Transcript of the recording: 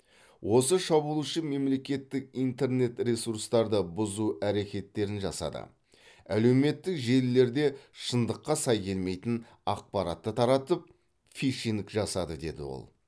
осы шабуылшы мемлекеттік интернет ресурстарды бұзу әрекеттерін жасады әлеуметтік желілерде шындыққа сай келмейтін ақпаратты таратып фишинг жасады деді ол